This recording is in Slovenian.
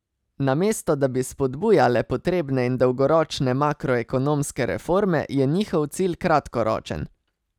Namesto da bi spodbujale potrebne in dolgoročne makroekonomske reforme, je njihov cilj kratkoročen.